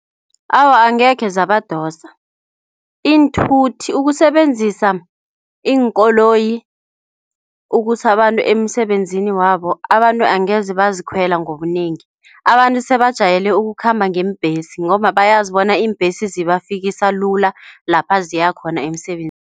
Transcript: Awa, angekhe zabadosa iinthuthi ukusebenzisa iinkoloyi ukusa abantu emisebenzini wabo. Abantu angeze bazikhwela ngobunengi. Abantu sebajwayele ukukhamba ngeembhesi ngobabayazi bona iimbhesi zibafikisa lula lapha ziyakhona emisebenzini.